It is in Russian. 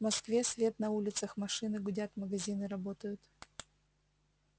в москве свет на улицах машины гудят магазины работают